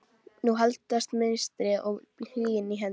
Nú haldast mistrið og hlýindin í hendur